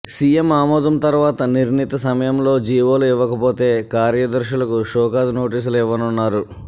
CM ఆమోదం తర్వాత నిర్ణీత సమయంలో జీవోలు ఇవ్వకపోతే కార్యదర్శులకు షోకాజ్ నోటీసులు ఇవ్వనున్నారు